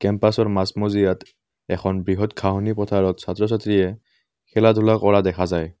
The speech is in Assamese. মাজমজিয়াত এখন বৃহৎ ঘাঁহনি পথাৰত ছাত্ৰ-ছাত্ৰীয়ে খেলা ধূলা কৰা দেখা যায়।